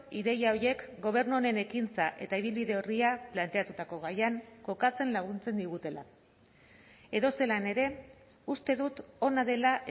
ideia horiek gobernu honen ekintza eta ibilbide orria planteatutako gaian kokatzen laguntzen digutela edozelan ere uste dut ona dela